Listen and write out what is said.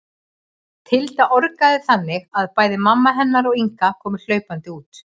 Tilda orgaði þannig að bæði mamma hennar og Inga komu hlaupandi út.